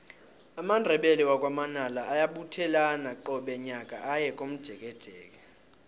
amandebele wakwa manala ayabuthelana qobe nyaka aye komjekejeke